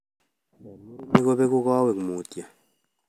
Eng murenik, kopeku kawot mutyo